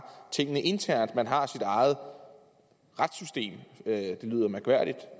tingene internt man har sit eget retssystem det lyder mærkværdigt